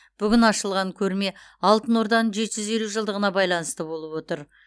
бүгін ашылған көрме алтын орданың жеті жүз елу жылдығына байланысты болып отыр